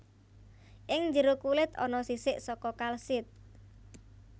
Ing jero kulit ana sisik saka kalsit